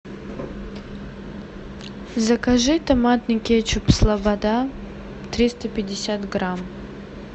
закажи томатный кетчуп слобода триста пятьдесят грамм